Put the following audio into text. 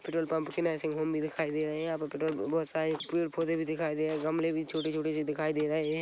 Petrol pump की nursing home भी दिखाई दे रहे है यहाँ पे पेट्रोल बहोत सारे पड़े पौधे भी दिखाई दे रहे है गमले भी छोटी छोटी सी दिखाई दे रहे है।